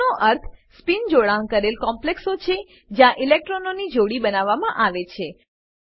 લો નો અર્થ સ્પિન જોડાણ કરેલ કોમ્પ્લેક્સો છે જ્યાં ઇલેક્ટ્રોનોની જોડી બનાવવામાં આવે છે